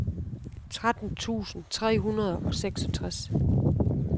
tretten tusind tre hundrede og seksogtres